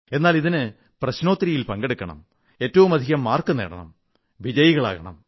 എന്നാൽ ഇതിന് പ്രശ്നോത്തരയിൽ പങ്കെടുക്കണം ഏറ്റവുമധികം മാർക്ക് നേടണം വിജയിയാകണം